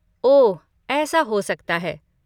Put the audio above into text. ओह, ऐसा हो सकता है।